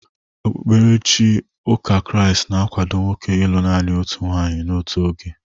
Okpukperechi ụka Kraịst na-akwado nwoke ịlụ naanị otu nwaanyị n'otu oge.